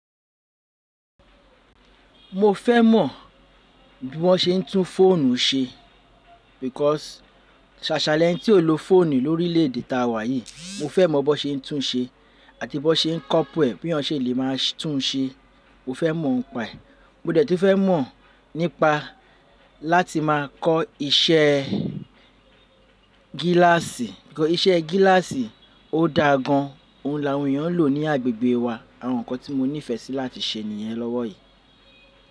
Mo fẹ́ mọ̀ bí wọ́n ṣe ń tún fóònù ṣe because ṣàṣa lẹ̀ni tí ó lọ fóònù lórí ilé ede tàwà yìí, mo fẹ́ mọ̀ bó ṣe ń tún ṣe àti bó ṣe ń copule e bí èèyàn ṣe lè máa tún ṣe, mo fẹ́ mọ̀ óń pẹ́ e. Mo dẹ̀ tún fẹ́ mọ̀ nípa láti máa kọ́ iṣẹ́ gíláàsì. Iṣẹ́ gíláàsì o dá gan. Ohun làwọn èèyàn ń lò ní agbègbè wa. Àwọn ǹkan tí mo nífẹsí láti ṣe nìyẹn lọ́wọ́ yìí.